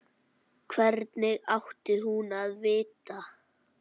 Hvernig átti hún að vita-?